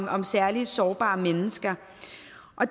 om særlig sårbare mennesker